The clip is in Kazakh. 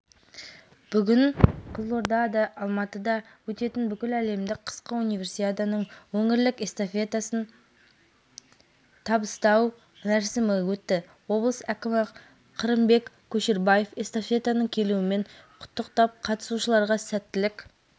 минскінің динамосын жеңісімен құттықтаймын бүгін жанкүйерлер жақсы ойынға куә болды деп ойлаймын командам бәрін жоспар бойынша